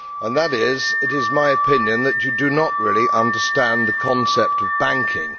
That is it is my opinion that you do not really understand the concept of banking.